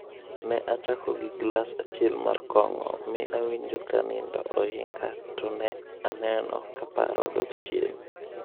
"Ne achako gi glas achiel mar kong'o mi awinjo ka nindo ohinga to ne aneno ka paro dok chien.